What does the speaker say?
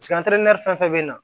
fɛn fɛn bɛ na